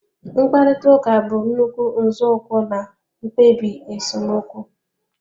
Mkparịta ụka bụ nnukwu nzọụkwụ na mkpebi esemokwu